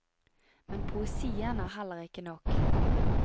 Men poesien er heller ikke nok.